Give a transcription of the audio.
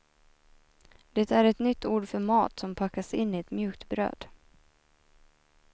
Det är ett nytt ord för mat som packas in i ett mjukt bröd.